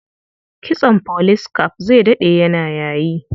Kitson police cap zai daɗe yana yayi.